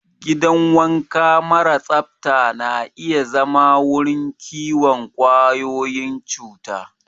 Gidan wanka mara tsafta na iya zama wurin kiwon ƙwayoyin cuta.